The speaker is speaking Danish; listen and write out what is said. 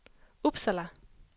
Uppsala